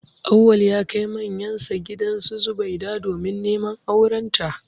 Auwal ya kai manyansa gidan Zubaida domin neman aurenta